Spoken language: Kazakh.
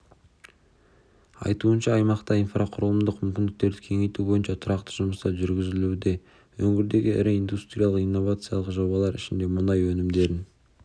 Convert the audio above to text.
айтуынша аймақта инфрақұрылымдық мүмкіндіктерді кеңейту бойынша тұрақты жұмыстар жүргізілуде өңірдегі ірі индустриялық-инновациялық жобалардың ішінде мұнай өнімдерін